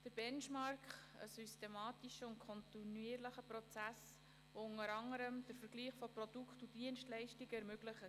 Der Benchmark ist ein systematischer und kontinuierlicher Prozess, der unter anderem den Vergleich von Produkten und Dienstleistungen ermöglicht.